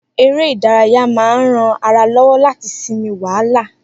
Eré ìdárayá máa ń rán ara lọ́wọ́ láti sinmi wàhálà